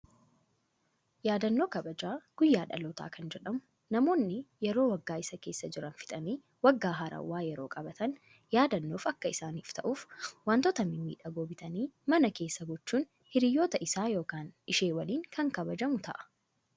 Yaadannoo kabaja guyyaa dhalootaa kan jedhamu, namoonni yeroo waggaa isa keessa jiran fixanii, waggaa haarawaa yeroo qabatan yaadannoof akka isaaniif ta'uuf waantota mimmiidhagoo bitanii mana keessa gochuun hiriyoota isaa yookaan ishee waliin kan kabajamu ta'a.